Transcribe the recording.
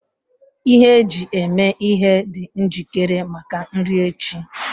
Ihe eji eme ihe dị njikere maka nri echi